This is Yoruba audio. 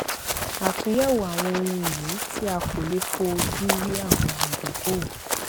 àtúnyẹwò àwọn ohun ìní tí a kò lè fó ojú rí àwọn ìdókòwò